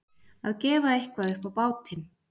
Að gefa eitthvað upp á bátinn